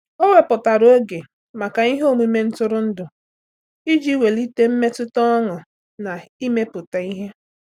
Ọ́ wèpụ̀tárà oge màkà ihe omume ntụrụndụ iji wèlíté mmetụta ọṅụ́ na ímépụ́ta ihe.